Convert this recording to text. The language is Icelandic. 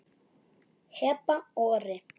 Heba og Orri.